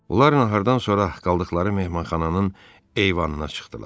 Onlarla hərdən sonra qaldıqları mehmanxananın eyvanına çıxdılar.